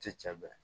Ti cɛ bɛ